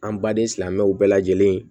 An baden silamɛw bɛɛ lajɛlen